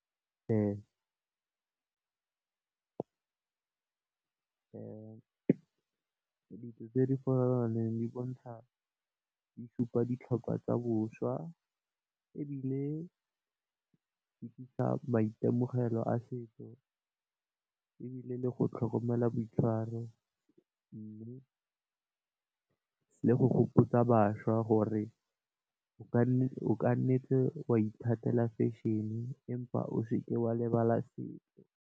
Dijo tse di farologaneng di bontsha di supa ditlhokwa tsa bošwa, ebile di tlisa maitemogelo a setso ebile le go tlhokomela boitshwaro. Mme le go gopotsa bašwa gore o ka nnetse wa ithatela fešhene empa o seke wa lebala setso.